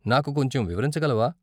నాకు కొంచెం వివరించగలవా?